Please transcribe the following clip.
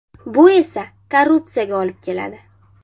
Bu esa korrupsiyaga olib keladi.